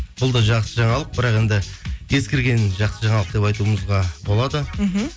бұл да жақсы жаңалық бірақ енді ескірген жақсы жаңалық деп айтуымызға болады мхм